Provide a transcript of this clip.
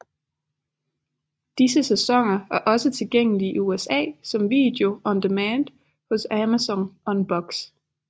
Disse sæsoner er også tilgængelige i USA som video on demand hos Amazon Unbox